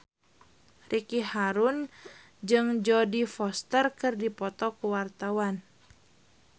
Ricky Harun jeung Jodie Foster keur dipoto ku wartawan